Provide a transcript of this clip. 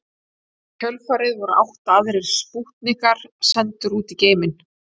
Í kjölfarið voru átta aðrir spútnikar sendir út í geiminn.